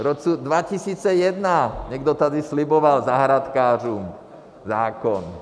V roce 2001 někdo tady sliboval zahrádkářům zákon.